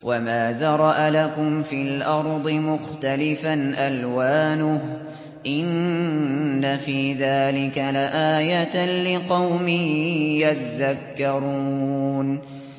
وَمَا ذَرَأَ لَكُمْ فِي الْأَرْضِ مُخْتَلِفًا أَلْوَانُهُ ۗ إِنَّ فِي ذَٰلِكَ لَآيَةً لِّقَوْمٍ يَذَّكَّرُونَ